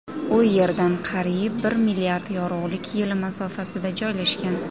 U Yerdan qariyb bir milliard yorug‘lik yili masofasida joylashgan.